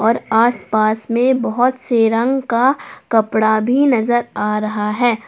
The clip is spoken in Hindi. और आस पास में बहुत से रंग का कपड़ा भी नजर आ रहा है।